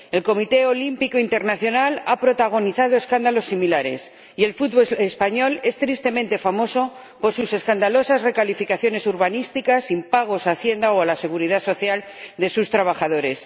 El Comité Olímpico Internacional ha protagonizado escándalos similares y el fútbol español es tristemente famoso por sus escandalosas recalificaciones urbanísticas, impagos a Hacienda o a la Seguridad Social de sus trabajadores.